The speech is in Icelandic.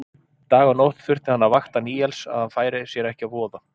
Dag og nótt þurfti hann að vakta Níels að hann færi sér ekki að voða.